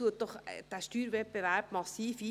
Dies dämmt den Steuerwettbewerb massiv ein.